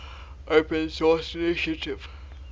open source initiative